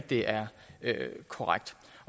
det er korrekt